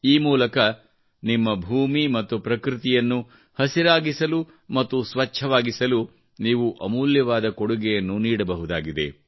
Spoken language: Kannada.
ಈ ಮೂಲಕ ನಿಮ್ಮ ಭೂಮಿ ಮತ್ತು ಪ್ರಕೃತಿಯನ್ನು ಹಸಿರಾಗಿಸಲು ಮತ್ತು ಸ್ವಚ್ಛವಾಗಿಸಲು ನೀವು ಅಮೂಲ್ಯವಾದ ಕೊಡುಗೆಯನ್ನು ನೀಡಬಹುದಾಗಿದೆ